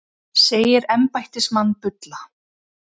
Segir embættismann bulla